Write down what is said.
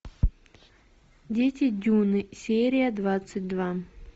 дети дюны серия двадцать два